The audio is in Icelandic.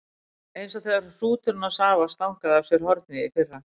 Eins og þegar hrúturinn hans afa stangaði af sér hornið í fyrra.